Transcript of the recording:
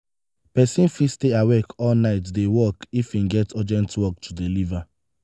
persin fit stay awake all night de work if im get urgent work to deliever